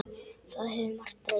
Það hefur margt breyst.